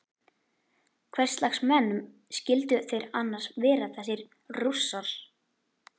Hverslags menn skyldu þeir annars vera þessir Rússar?